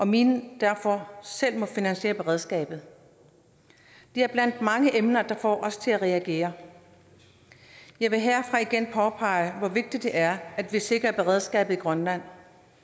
minen derfor selv må finansiere beredskabet det er ét blandt mange emner der får os til at reagere jeg vil herfra igen påpege hvor vigtigt det er at vi sikrer beredskabet i grønland